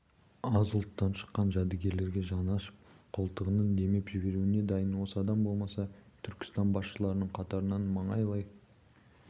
аз ұлттан шыққан жәдігерлерге жаны ашып қолтығынан демеп жіберуге дайын осы адам болмаса өзі түркістан басшыларының қатарын маңайлай